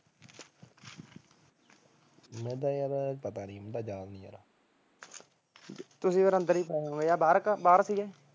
ਮੈਨੂੰ ਤਾਂ ਯਾਰ ਪਤਾ ਨੀ ਤੁਸੀਂ ਫਿਰ ਅੰਦਰ ਹੋਣੇ ਕਿ ਬਾਹਰ ਸੀਗੇ